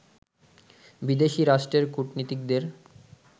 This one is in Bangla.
বিদেশী রাষ্ট্রের কূটনীতিকদের